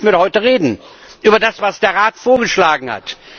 Darüber wollten wir doch heute reden, über das, was der Rat vorgeschlagen hat.